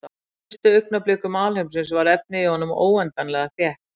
Á fyrstu augnablikum alheimsins var efnið í honum óendanlega þétt.